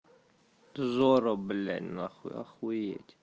зорро блять нахуй охуеть